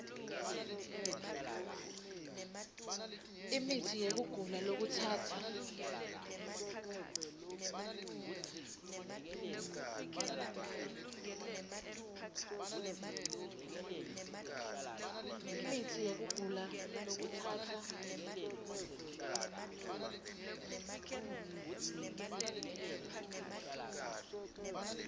imitsi yekugula lokutsatsa